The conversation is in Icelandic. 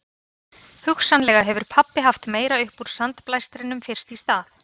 Hugsanlega hefur pabbi haft meira upp úr sandblæstrinum fyrst í stað